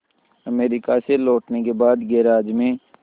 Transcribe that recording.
America से लौटने के बाद गैराज में